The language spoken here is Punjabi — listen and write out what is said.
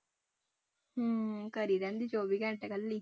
ਹਮ ਘਰੇ ਰਹਿੰਦੀ ਚੌਵੀ ਘੰਟੇ ਇਕੱਲੀ।